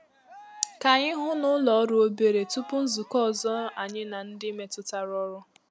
Ka anyị hụ ná ụlọ òrụ́ òbèrè tupu nzukọ ọzọ anyị na ndị metụtara ọrụ.